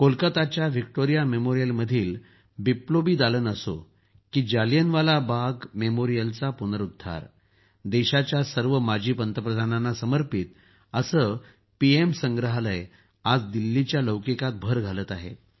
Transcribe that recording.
कोलकताच्या Victoria मेमोरियलमध्ये बिप्लोबी दालन असो की मग जालियनवाला बाग मेमोरियलचा जीर्णोद्धार देशाच्या सर्व माजी पंतप्रधानांना समर्पित असं पीएम संग्रहालय आज दिल्लीच्या शोभेत भर घालत आहे